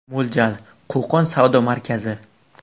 Mo‘ljal: Qo‘qon savdo markazi.